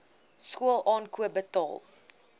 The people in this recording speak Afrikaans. skool aankoop betaal